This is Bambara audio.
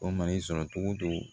O mana i sɔrɔ cogo o cogo